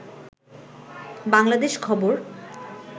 বাংলাদেশ খবর